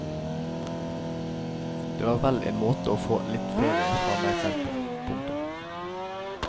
Det var vel en måte å få litt ferie fra meg selv på. punktum